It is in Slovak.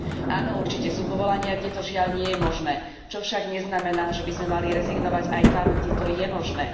Áno, určite sú povolania, kde to žiaľ nie je možné, čo však neznamená, že by sme mali rezignovať aj tam, kde to je možné.